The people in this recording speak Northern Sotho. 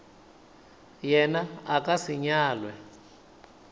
yena a ka se nyalwe